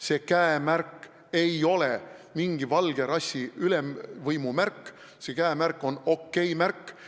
See käemärk ei ole mingi valge rassi ülemvõimu märk, see käemärk on OK-märk.